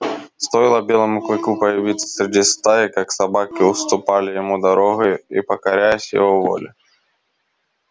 стоило белому клыку появиться среди стаи как собаки уступали ему дорогу и покорялись его воле